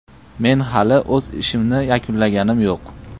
Men hali o‘z ishimni yakunlaganim yo‘q.